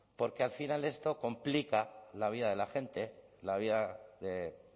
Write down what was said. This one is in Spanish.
porque al final esto complica la vida de la gente la vida de